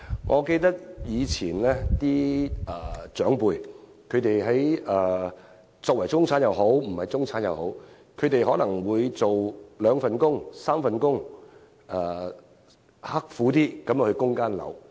我記得，以前的長輩不論是否中產人士，他們可能有兩三份工作，刻苦生活，只為供樓。